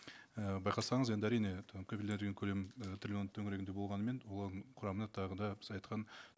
і байқасаңыз енді әрине і там кепілдендірілген көлем і триллион төңірегінде болғанымен олардың құрамына тағы да біз айтқан